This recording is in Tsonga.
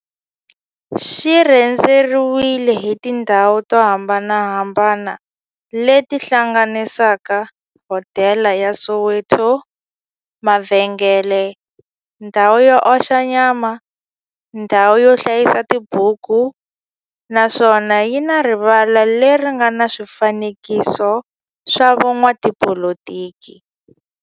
Xi rhendzeriwile hi tindhawu to hambanahambana le ti hlanganisaka, hodela ya Soweto, mavhengele, ndhawu yo oxa nyama, ndhawu yo hlayisa tibuku, naswona yi na rivala le ri nga na swifanekiso swa vo n'watipolitiki.